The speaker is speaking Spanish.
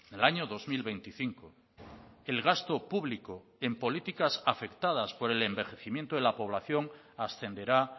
el año dos mil veinticinco el gasto público en políticas afectadas por el envejecimiento de la población ascenderá